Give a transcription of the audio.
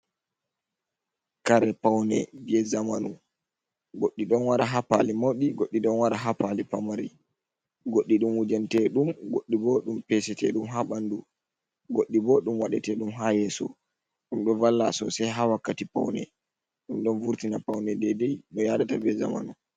"Kare" paune je zamanu. Goɗɗum ɗon wara ha pali mauɗi, goɗɗi ɗon wara ha pali pamari, goɗɗi ɗum wujan teɗum, goɗɗi bo ɗum pesete ɗum ha ɓandu, goɗɗi bo ɗum waɗe teɗum ha yeso ɗum ɗo valla sosai ha wakkati paune ɗum ɗon vurtina paune daidai no yaadata be zamanu.